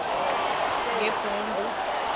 ngebhundu